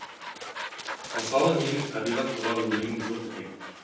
мысалы менің табиғат туралы өлеңім жоқ екен